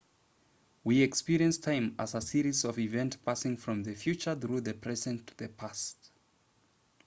we experience time as a series of events passing from the future through the present to the past